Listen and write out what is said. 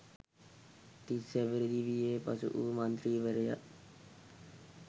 තිස්‌ හැවිරිදි වියේ පසු වූ මන්ත්‍රීවරයා